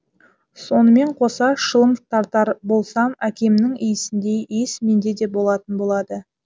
сонымен қоса шылым тартар болсам әкемнің иісіндей иіс менде де болатын болады